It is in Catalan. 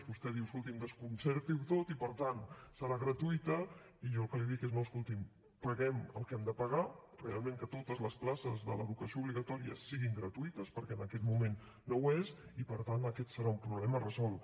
vostè diu escolti’m desconcerti ho tot i per tant serà gratuïta i jo el que li dic és no escolti’m paguem el que hem de pagar realment perquè totes les places de l’educació obligatòria siguin gratuïtes perquè en aquest moment no ho és i per tant aquest serà un problema resolt